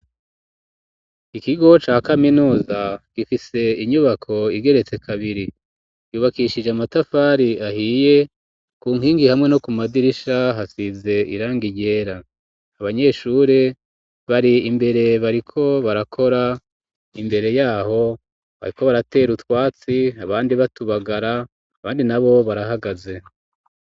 Ikigo ca kaminuza gifise inyubako igeretse kabiri yubakishije amatafari ahiye ku nkingi hamwe no ku madirisha hasize irangi ryera abanyeshuri bari imbere bariko barakora imbere yaho bariko baratera utwatsi abandi batubagara abandi na bo barahagaze.